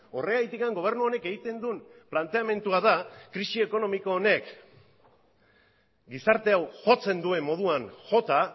horregatik gobernu honek egiten duen planteamendua da krisi ekonomiko honek gizarte hau jotzen duen moduan jota